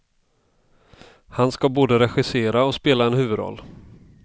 Han ska både regissera och spela en huvudroll.